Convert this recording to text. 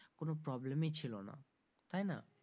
কোনো problem ই ছিলনা তাই না?